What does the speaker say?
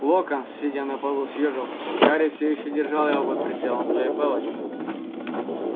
локонс сидя на полу съёжился гарри всё ещё держал его под прицелом своей палочки